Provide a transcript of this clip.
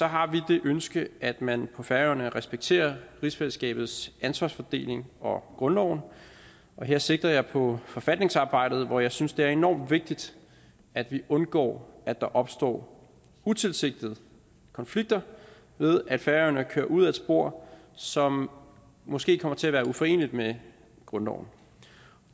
har vi det ønske at man på færøerne respekterer rigsfællesskabets ansvarsfordeling og grundloven og her sigter jeg på forfatningsarbejdet hvor jeg synes det er enormt vigtigt at vi undgår at der opstår utilsigtede konflikter ved at færøerne kører ud ad et spor som måske kommer til at være uforeneligt med grundloven